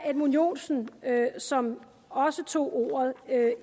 edmund joensen som også tog ordet